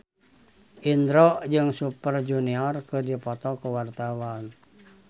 Indro jeung Super Junior keur dipoto ku wartawan